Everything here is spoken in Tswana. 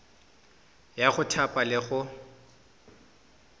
ya go thapa le go